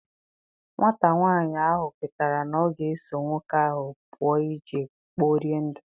Nwata nwanyị ahụ kwetara na ọ ga eso nwoke ahụ pụọ jee kporie ndụ.